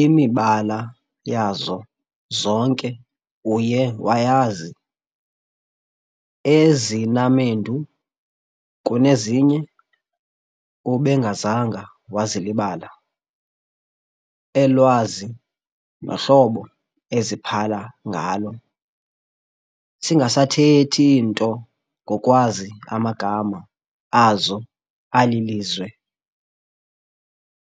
Imibala yazo zonke uye wayazi, ezinamendu kunezinye ubengazanga wazilibala, elwazi nohlobo eziphala ngalo, singasathethi nto ngokwazi amagama azo alilizwe,